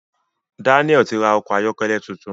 Daniel tí ra Ọkọ̀ ayọ́kẹ́lẹ́ títún.